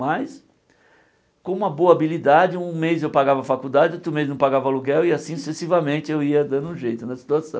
Mas com uma boa habilidade, um mês eu pagava faculdade, outro mês não pagava aluguel e assim sucessivamente eu ia dando um jeito na situação.